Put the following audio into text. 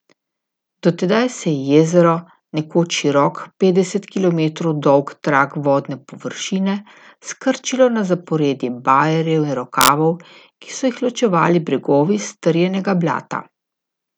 Do tedaj se je jezero, nekoč širok, petdeset kilometrov dolg trak vodne površine, skrčilo na zaporedje bajerjev in rokavov, ki so jih ločevali bregovi strjenega blata.